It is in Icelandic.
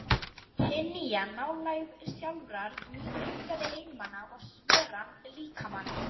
Hin nýja nálægð sjálfrar mín huggaði einmana og sveran líkamann.